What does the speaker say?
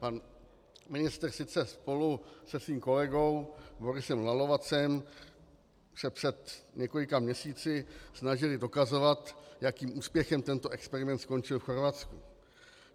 Pan ministr sice spolu se svým kolegou Borisem Lalovacem se před několika měsíci snažili dokazovat, jakým úspěchem tento experiment skončil v Chorvatsku.